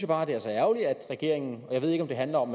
bare at det er så ærgerligt at regeringen jeg ved ikke om det handler om